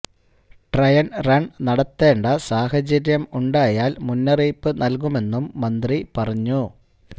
trial run നടത്തേണ്ട സാഹചര്യം ഉണ്ടായാല് മുന്നറിയിപ്പ് നല്കുമെന്നും മന്ത്രി പറഞ്ഞു